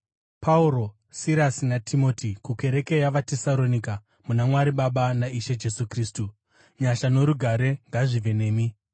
Pauro, Sirasi naTimoti, kukereke yavaTesaronika muna Mwari Baba naIshe Jesu Kristu: Nyasha norugare ngazvive nemi.